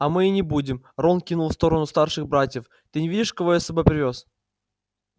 а мы и не будем рон кивнул в сторону старших братьев ты не видишь кого я с собой привёз